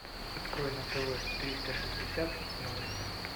открой на тв триста шестьдесят новости